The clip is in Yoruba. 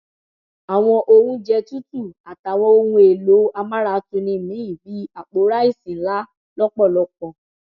àwọn oúnjẹ tútù àtàwọn ohun èèlò amáratuni míín bíi àpò ráìsì ńlá lọpọlọpọ